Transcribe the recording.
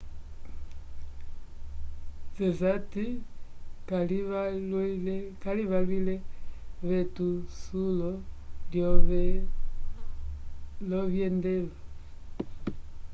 zeyat calivalwile vetusulo lovyendelo